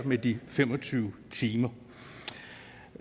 med de fem og tyve timer